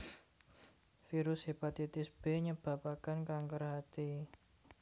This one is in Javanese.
Virus Hepatitis B nyebabaken kanker hati